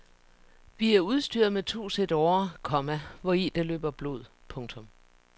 Vi er udstyret med to sæt årer, komma hvori der løber blod. punktum